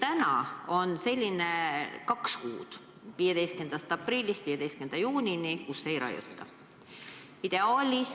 Praegu on meil ette nähtud kaks kuud, 15. aprillist 15. juunini, kui ei raiuta.